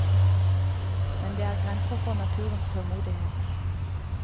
Men det er grenser for naturens tålmodighet.